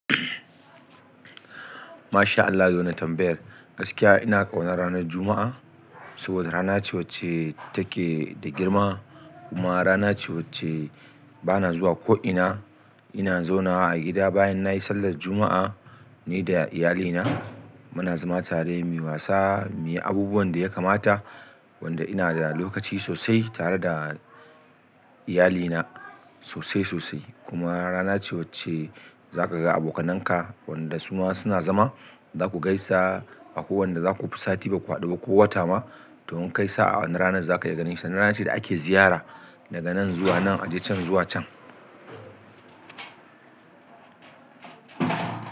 Masha Allah da wannan tambayar, gaskiya ina ƙonar ranar Juma'a. Saboda rana ce wacce take da girma kuma rana ce wacce bana zuwa ko ina. Ina zaunawa a gida bayan nayi sallah juma'a ni da iyalina. Muna zama tare muyi wasa muyi abubuwan da ya kamata wanda ina da lokaci sosai tare da iyalina sosai sosai. Kuma rana ce wacce zaka ga abokananka wanda su ma suna zama. Zaku gaisa akwai wanda zaku fi sati baku hadu ba ko wata ma to in kaisa a wanan rana zaku iya ganin shi. Rana ce da ake ziyara daga nan zuwa nan, aji can zuwa can.